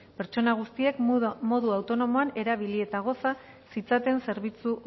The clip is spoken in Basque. pertsona guztiek modu autonomoan erabili eta goza zitzaten zerbitzu